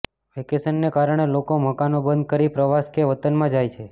વેકેશનને કારણે લોકો મકાનો બંધ કરી પ્રવાસ કે વતનમાં જાય છે